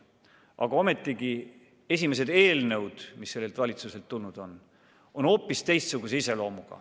Aga ometi esimesed eelnõud, mis sellelt valitsuselt on tulnud, on hoopis teistsuguse iseloomuga.